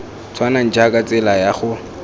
tshwanang jaaka tsela ya go